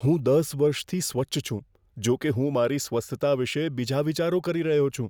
હું દસ વર્ષથી સ્વચ્છ છું, જો કે હું મારી સ્વસ્થતા વિશે બીજા વિચારો કરી રહ્યો છું.